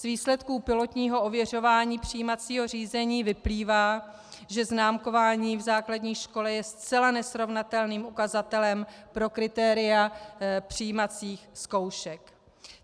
Z výsledků pilotního ověřování přijímacího řízení vyplývá, že známkování v základní škole je zcela nesrovnatelným ukazatelem pro kritéria přijímacích zkoušek.